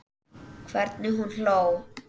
Hvernig hún hló.